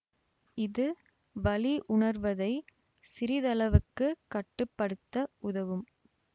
இது வலி உணர்வதை சிறிதளவுக்குக் கட்டு படுத்த உதவும்